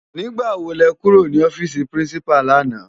Nigbá wó lè kúró ni òfisi Pirinsipá làná?